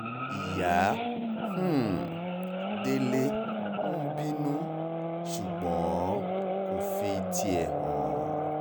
ìyá um délé ń bínú ṣùgbọ́n kò fi tiẹ̀ hàn